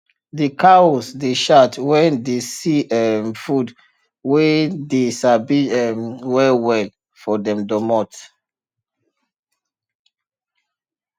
de cows dey shout wen dey see um food wey dey sabi um well well for dem domot